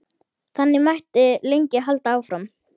Þannig mætti lengi halda áfram.